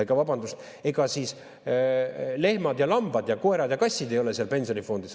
Väike vabandus: ega siis lehmad ja lambad ja koerad ja kassid ei ole seal pensionifondis.